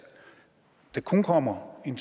der nu kun kommer en